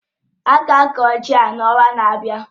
Ága akọ ji ahụ n'ọnwa na-abịa